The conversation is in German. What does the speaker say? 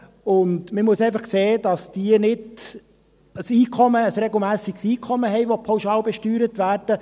Man muss einfach sehen, dass diejenigen, welche pauschal besteuert werden, kein regelmässiges Einkommen haben.